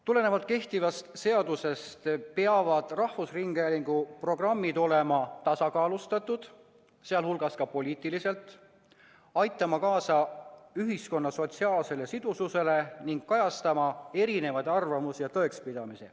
Tulenevalt kehtivast seadusest peavad rahvusringhäälingu programmid olema tasakaalustatud, sh poliitiliselt, aitama kaasa ühiskonna sotsiaalsele sidususele ning kajastama erisuguseid arvamusi ja tõekspidamisi.